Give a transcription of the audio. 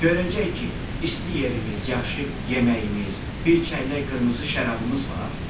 Görəcək ki, isti yerimiz, yaxşı yeməyimiz, bir çəllək qırmızı şərabımız var?